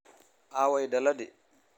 Aaway daladii?